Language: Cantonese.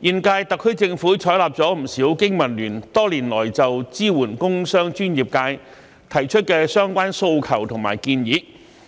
現屆特區政府採納了不少經民聯多年來就支援工商專業界提出的相關訴求及建議。